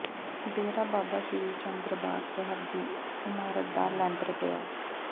ਡੇਰਾ ਬਾਬਾ ਸ੍ਰੀ ਚੰਦ ਦਰਬਾਰ ਸਾਹਿਬ ਦੀ ਇਮਾਰਤ ਦਾ ਲੈਂਟਰ ਪਿਆ